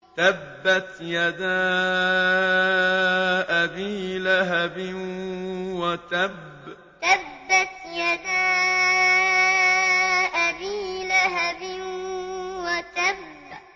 تَبَّتْ يَدَا أَبِي لَهَبٍ وَتَبَّ تَبَّتْ يَدَا أَبِي لَهَبٍ وَتَبَّ